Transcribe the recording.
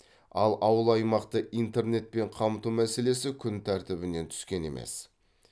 ал ауыл аймақты интернетпен қамту мәселесі күн тәртібінен түскен емес